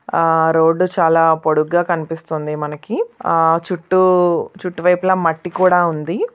ఆ రోడ్డు చాలా పొడుగ్గా కనిపిస్తుంది మనకి ఆ చుట్టూ చుట్టూ వైపులా మట్టి కూడా ఉంది.